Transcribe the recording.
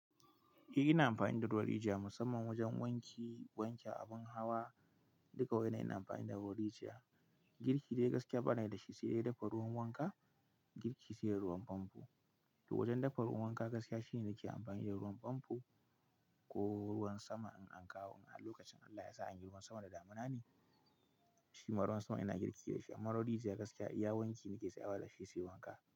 Eh ina amfani da ruwan rijiya musamman wajen wanke abin hawa. Duka waɗannan ina amfani da ruwan rijiya. Girki da ya gaskiya bana da shi, sai dai dafa ruwan wanka, girki sai dai ruwan famfo. To wajen dafa ruwan wanka gaskiya shine nake amfani da ruwan famfo ko ruwan sama in an kawo. A lokacin Allah ya sa an yi ruwan sama da damuna ne, shi ma ruwan sama ina girki da shi. Amma ruwan rijiya gaskiya iya wanki nake tsayawa da shi, sai wanka.